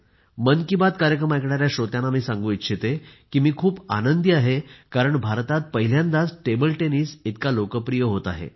मन की बात कार्यक्रम ऐकणाऱ्या श्रोत्यांना मी सांगू इच्छिते की मी खूप आनंदी आहे कारण भारतात पहिल्यांदाच टेबल टेनिस इतका लोकप्रिय होत आहे